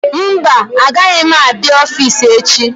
Mba agaghị m abịa ọffici echi.